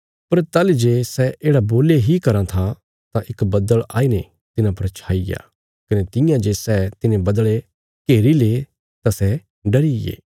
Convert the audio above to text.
पर ताहली जे सै येढ़ा बोल्ली इ कराँ था तां इक बद्दल़ आई ने तिन्हां पर छाईया कने तियां जे सै तिने बद्दल़े घेरीले तां सै डरिये